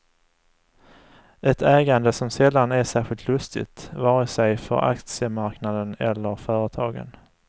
Ett ägande som sällan är särskilt lustigt, vare sig för aktiemarknaden eller företagen.